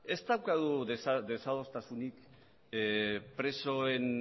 ez daukagu desadostasunik presoen